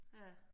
Ja